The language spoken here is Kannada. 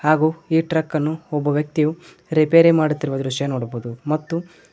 ಹಾಗೂ ಈ ಟ್ರಕ್ಕನ್ನು ಒಬ್ಬ ವ್ಯಕ್ತಿಗೂ ರಿಪೇರಿ ಮಾಡುತ್ತಿರುವ ದೃಶ್ಯವನ್ನು ನೋಡಬಹುದು ಹಾಗೂ --